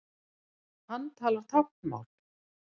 Hann talar táknmál.